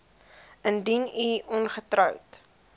indien u ongetroud